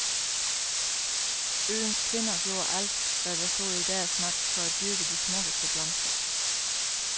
Øens kvinder gjorde alt, hvad der stod i deres magt, for at dyrke de smukkeste blomster.